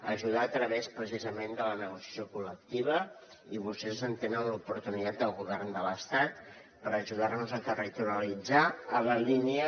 ajudar a través precisament de la negociació col·lectiva i vostès en tenen l’oportunitat des del govern de l’estat per ajudar nos a territorialitzar a la línia